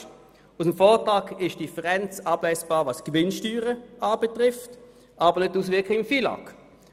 Aus dem Vortrag ist die Differenz der Gewinnsteuern ablesbar, aber nicht die Auswirkungen im FILAG.